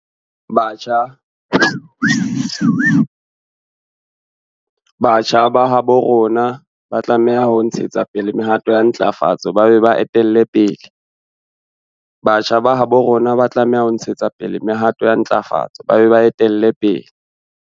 Batjha ba habo rona ba tlameha ho ntshetsa pele mehato ya ntlafatso ba be ba e etelle pele.